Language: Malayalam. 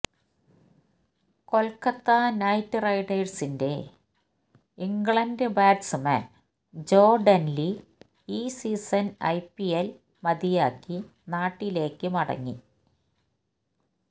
കൊൽക്കത്ത നൈറ്റ് റൈഡേഴ്സിന്റെ ഇംഗ്ലണ്ട് ബാറ്റ്സ്മാൻ ജോ ഡെൻലി ഈ സീസൺ ഐപിഎൽ മതിയാക്കി നാട്ടിലേക്ക് മടങ്ങി